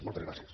moltes gràcies